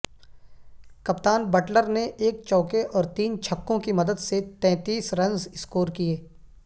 کپتان بٹلر نے ایک چوکے اور تین چھکوں کی مدد سے تنتیس رنز سکور کیے